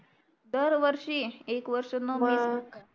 दरवर्षी एक वर्षन मिस करता